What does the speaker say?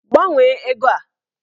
Gbanwee ego a!